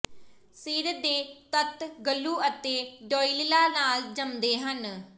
ਸਿਰ ਦੇ ਤੱਤ ਗਲੂ ਅਤੇ ਡੌਇਲਲਾਂ ਨਾਲ ਜੰਮਦੇ ਹਨ